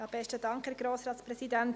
– Ich gebe ihr das Wort.